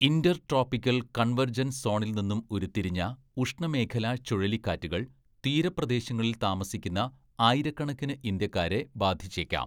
Intertropical convergence സോണിൽ നിന്നും ഉരുത്തിരിഞ്ഞ ഉഷ്ണമേഖലാ ചുഴലിക്കാറ്റുകൾ തീരപ്രദേശങ്ങളിൽ താമസിക്കുന്ന ആയിരക്കണക്കിന് ഇന്ത്യക്കാരെ ബാധിച്ചേക്കാം.